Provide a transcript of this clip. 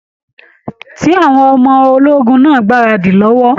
Ṣé àwọn ọmọ ológun náà n gbaradi lọwọ?